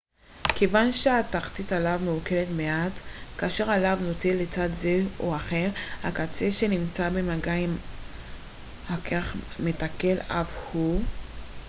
כיוון שתחתית הלהב מעוקלת מעט כאשר הלהב נוטה לצד זה או אחר הקצה שנמצא במגע עם הקרח מתעקל אף הוא